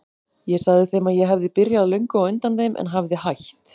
Ég sagði þeim að ég hefði byrjað löngu á undan þeim en hefði hætt.